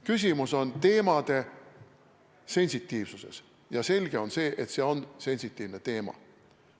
Küsimus on teemade sensitiivsuses ja selge on, et see on sensitiivne teema.